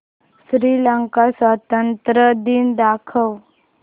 श्रीलंका स्वातंत्र्य दिन दाखव